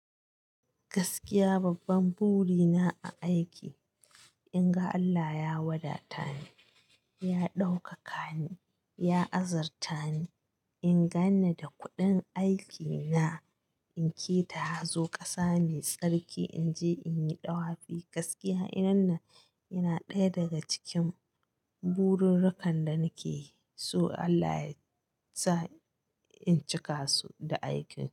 Gaskiya babban buri na a aiki in ga Allah ya wadata ni, ya ɗaukaka ni, ya azurtani in ganni da kuɗin aiki na, in keta hazo kasa me tsarki, in je in yi ɗawafi gaskiya inanna yana ɗaya daga cikin burirrukan da nake so Allah ya sa in cika su da aiki.